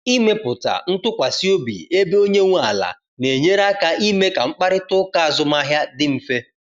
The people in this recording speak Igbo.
Ịmepụta ntụkwasị obi ebe onye nwe ala na enyere aka ime ka mkparịta ụka azụmahịa dị mfe